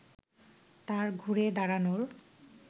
তার ঘুরে দাঁড়ানোর